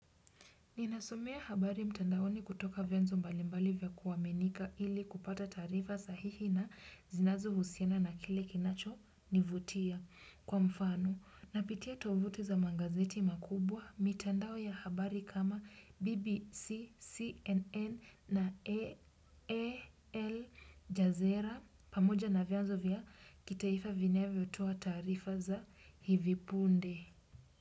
Ninasomea habari mtandaoni kutoka vienzo mbalimbali vya kuaminika ili kupata taarifa sahihi na zinazohusiana na kile kinachonivutia. Kwa mfano, napitia tovuti za magazeti makubwa, mitandao ya habari kama BBC, CNN na Aljazeera, pamoja na vianzo vya kitaifa vinavyotoa taarifa za hivi punde.